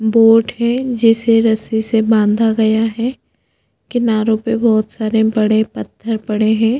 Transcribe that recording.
Boat है जिससे रस्सी से बांधा गया है कीनारो पे बहोत सारे पत्थर पड़े है।